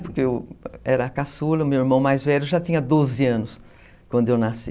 Porque eu era a caçula, meu irmão mais velho já tinha doze anos quando eu nasci.